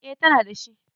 E, tana da shi.